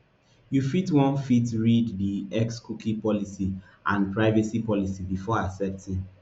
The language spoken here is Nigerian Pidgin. you fit wan fit wan read di xcookie policyandprivacy policybefore accepting